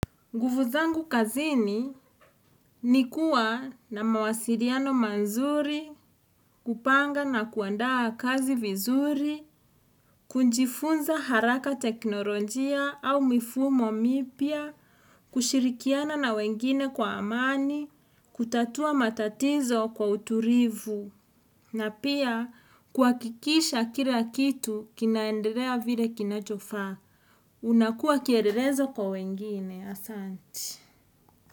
Nguvu zangu kazini ni kuwa na mawasiliano mazuri, kupanga na kuandaa kazi vizuri, kujifunza haraka teknolojia au mifumo mipya, kushirikiana na wengine kwa amani, kutatua matatizo kwa uturivu, na pia kuhakikisha kira kitu kinaendelea vile kinachofaa. Unakuwa kiererezo kwa wengine, Asanti.